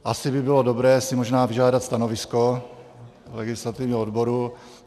Asi by bylo dobré si možná vyžádat stanovisko legislativního odboru.